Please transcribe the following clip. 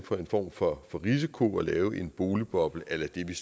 for en form for risiko og lave en boligboble a la det vi